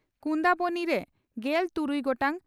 ᱠᱩᱱᱫᱟᱵᱚᱱᱤ) ᱨᱮ ᱜᱮᱞ ᱛᱩᱨᱩᱭ ᱜᱚᱴᱟᱝ